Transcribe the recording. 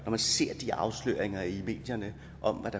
jeg ser de afsløringer i medierne om hvad